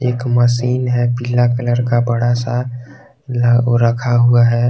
एक मशीन है पीला कलर का बड़ा सा रखा हुआ है।